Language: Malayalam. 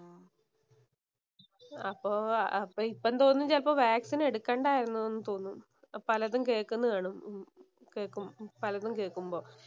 അപ്പോ അപ്പോ ഇപ്പോ തോന്നുന്നു ചെലപ്പോ വാക്സിന്‍ എടുക്കുകയായിരുന്നു എന്ന് തോന്നും. പലതും കേൾക്കുന്ന കാണുമ്പോ കേക്കു പലതും കേക്കുമ്പോ